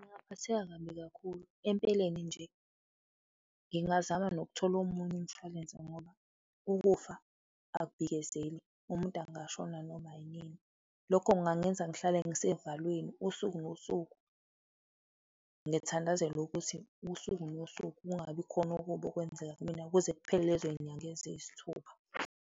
Ngingaphatheka kabi kakhulu. Empeleni nje, ngingazama nokuthola omunye umshwalense ngoba ukufa akubhikezeli, umuntu angashona noma inini. Lokho kungangenza ngihlale ngisevalweni usuku nosuku, ngithandazele ukuthi usuku nosuku kungabi khona okubi okwenzeka kumina kuze kuphele lezo zinyanga eziyisithupha.